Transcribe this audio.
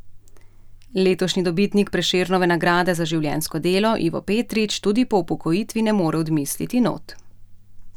Letošnji dobitnik Prešernove nagrade za življenjsko delo Ivo Petrić tudi po upokojitvi ne more odmisliti not.